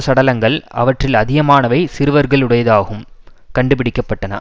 சடலங்கள் அவற்றில் அதிகமானவை சிறுவர்களுடையதாகும் கண்டுபிடிக்க பட்டன